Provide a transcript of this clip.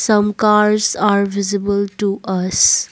some cars are visible to us.